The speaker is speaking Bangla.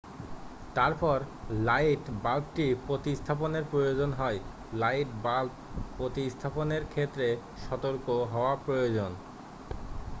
তারপর লাইট বাল্বটি প্রতিস্থাপনের প্রয়োজন হয় লাইট বাল্ব প্রতিস্থাপনের ক্ষেত্রে সতর্ক হওয়া প্রয়োজন